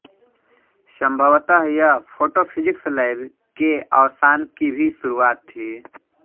संभवत यह photophysics lab के अवसान की भी शुरुआत थी